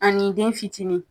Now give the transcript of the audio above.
Ani den fitinin